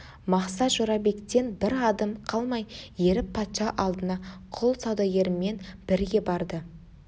мақсат жорабектен бір адым қалмай еріп патша алдына құл саудагерімен бірге барды